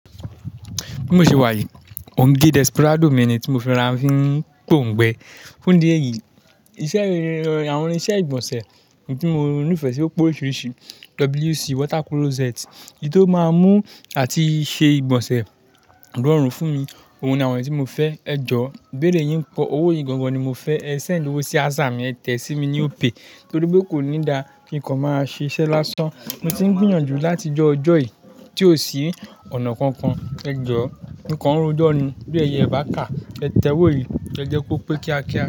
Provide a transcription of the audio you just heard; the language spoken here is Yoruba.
Bí mo ṣe wá yìí, mo ń gé Desperado mi ni tí mo fi rọ̀ ra fi n póǹgbẹ́. Fún ìdí èyí, iṣẹ́, àwọn irinṣẹ́ ìgbọ̀nsẹ̀ ni tí mo nífẹ̀ẹ́ sí ó pé oríṣiríṣi. WC water closet, èyí tó máa mú àti ṣe ìgbọ̀nsẹ̀ rọ́run fún mi, òun ni àwọn tí mo fẹ́. Ẹ jọ, íbéèrè yín pọ́, owó yìí gángan ni mo fẹ́, ẹ send ówó sí Aza mi, ẹ tẹ sí mi ní Opay torí pé kò ní da kí nǹkan máa ṣiṣẹ́ lásán. Mo ti ń gbìyànjú láti jọ́'ọjọ́ yìí tí ó sì ọ̀nà kankan. Ẹ jọ, mo kan ro jọ́ ni, bí ẹyẹ ibaká, ẹ tẹ wò yìí, ẹ jẹ́ kó pé kí á kí a.